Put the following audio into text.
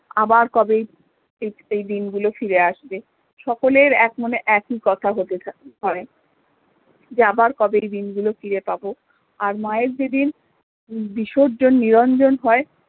আবার কবে এই দিন গুলো ফিরে আসবে সকলের এক মনে একই কথা হতে থাকে হয় যে আবার কবে এই দিন গুলো ফিরে পাবো আর মা এর যেদিন বিসর্জন নিরঞ্জন হয়